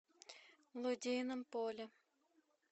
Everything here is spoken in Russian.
лодейном поле